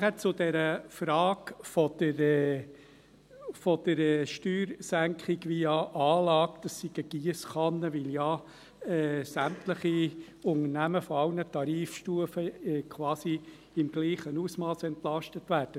Dann zur Frage der Steuersenkung via Anlage: Dies sei eine Giesskanne, weil ja sämtliche Unternehmen aller Tarifstufen quasi im gleichen Ausmass entlastet werden.